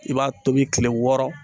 I b'a tobi kile wɔɔrɔ